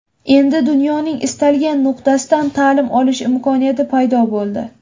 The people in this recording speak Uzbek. Endi dunyoning istalgan nuqtasidan ta’lim olish imkoniyati paydo bo‘ldi.